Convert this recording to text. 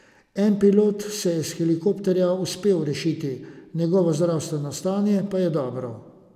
En pilot se je iz helikopterja uspel rešiti, njegovo zdravstveno stanje pa je dobro.